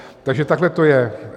Takže takhle to je.